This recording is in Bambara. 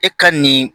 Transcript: E ka nin